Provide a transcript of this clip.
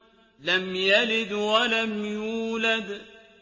لَمْ يَلِدْ وَلَمْ يُولَدْ